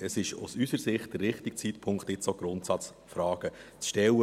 Es ist aus unserer Sicht der richtige Zeitpunkt, jetzt auch Grundsatzfragen zu stellen.